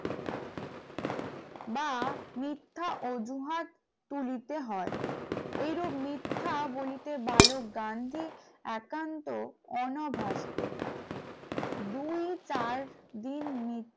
বা মিথ্যা অজুহাত তুলিতে হয় এইরূপ মিথ্যা বলিতে বালক গান্ধী একান্ত অনাভারসত, দুই চার দিন মিথ্যা